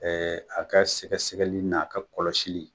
a ka sɛgɛsɛgɛli n' a ka kɔlɔsili